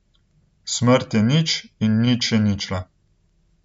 Smrt je nič in nič je ničla.